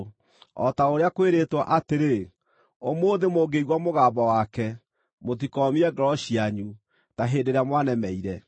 O ta ũrĩa kwĩrĩtwo, atĩrĩ: “Ũmũthĩ, mũngĩigua mũgambo wake, mũtikoomie ngoro cianyu ta hĩndĩ ĩrĩa mwanemeire.”